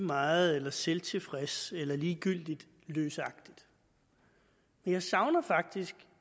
meget eller selvtilfreds eller ligegyldigt løsagtigt jeg savner faktisk